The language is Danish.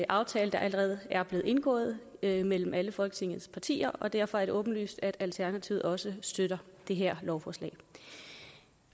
aftale der allerede er blevet indgået mellem mellem alle folketingets partier og derfor er det åbenlyst at alternativet også støtter det her lovforslag